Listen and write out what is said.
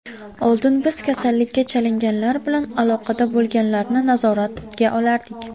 Oldin biz kasallikka chalinganlar bilan aloqada bo‘lganlarni nazoratga olardik.